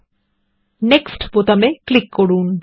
এবং তারপর নেক্সট বোতামে ক্লিক করুন